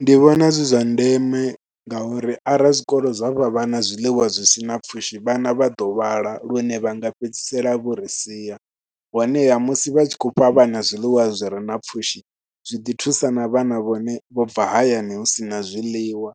Ndi vhona zwi zwa ndeme ngauri arali zwikolo zwa fha vhana zwiḽiwa zwi si na pfhushi vhana vha ḓo lwala lune vha nga fhedzisela vho ri sia. Honeha musi vha tshi khou fha vha na zwiḽiwa zwi re na pfhushi zwi ḓi thusa na vhana vhone vho bva hayani hu si na zwiḽiwa